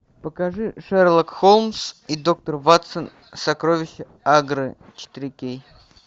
покажи шерлок холмс и доктор ватсон сокровища агры четыре кей